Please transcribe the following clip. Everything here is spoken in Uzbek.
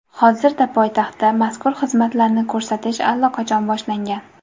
Hozirda poytaxtda mazkur xizmatlarni ko‘rsatish allaqachon boshlangan.